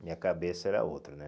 Minha cabeça era outra, né?